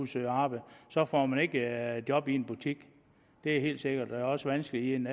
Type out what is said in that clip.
søge arbejde så får man ikke job i en butik det er helt sikkert det er også vanskeligt i en